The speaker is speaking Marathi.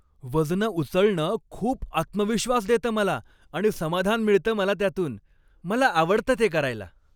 वजनं उचलणं खूप आत्मविश्वास देतं मला आणि समाधान मिळतं मला त्यातून. मला आवडतं ते करायला.